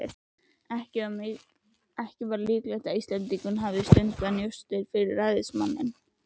Var ekki líklegt að Íslendingurinn hefði stundað njósnir fyrir ræðismanninn?